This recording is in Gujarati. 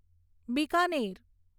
બિકાનેર